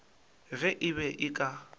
ge e be e ka